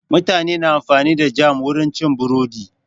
Mutane na amfani da jam wurin cin burodi.